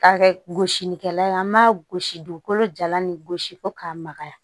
K'a kɛ gosilikɛla ye an b'a gosi dugukolo jalan ni gosi fo k'a magaya